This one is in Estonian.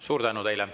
Suur tänu teile.